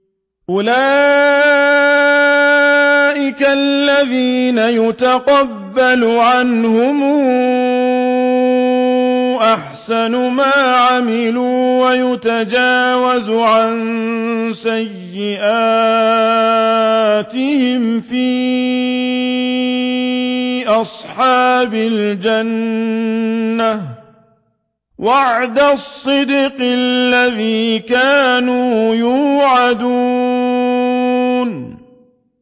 أُولَٰئِكَ الَّذِينَ نَتَقَبَّلُ عَنْهُمْ أَحْسَنَ مَا عَمِلُوا وَنَتَجَاوَزُ عَن سَيِّئَاتِهِمْ فِي أَصْحَابِ الْجَنَّةِ ۖ وَعْدَ الصِّدْقِ الَّذِي كَانُوا يُوعَدُونَ